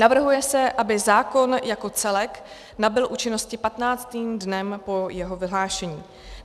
Navrhuje se, aby zákon jako celek nabyl účinnosti patnáctým dnem po jeho vyhlášení.